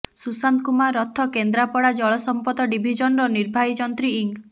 ସୁଶାନ୍ତ କୁମାର ରଥ କେନ୍ଦ୍ରାପଡା ଜଳ ସମ୍ପଦ ଡିଭିଜନର ନିର୍ବାହୀ ଯନ୍ତ୍ରୀ ଇଂ